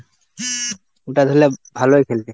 ওটা ধরলে ভালোই খেলবে।